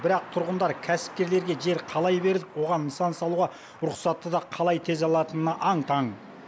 бірақ тұрғындар кәсіпкерлерге жер қалай бердік оған нысан салуға рұқсатты да қалай тез алатынына аң таң